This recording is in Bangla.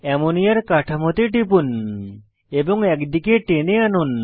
অ্যামোনিয়ার কাঠামোতে টিপুন এবং এক দিকে টেনে আনুন